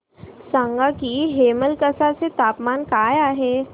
सांगा की हेमलकसा चे तापमान काय आहे